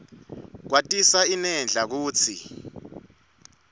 kwatisa inedlac kutsi